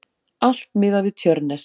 Allt miðað við Tjörnes.